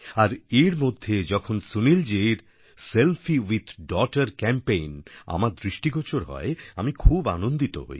আর এর মধ্যে যখন সুনীলজির সেলফি উইথ ডগটার ক্যাম্পেইন আমার দৃষ্টিগোচর হয় আমি খুব আনন্দিত হই